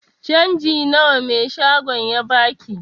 Canjin nawa mai shagon ya baki?